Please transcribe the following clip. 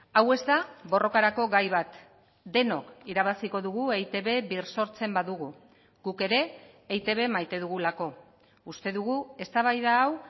hau ez da borrokarako gai bat denok irabaziko dugu eitb birsortzen badugu guk ere eitb maite dugulako uste dugu eztabaida hau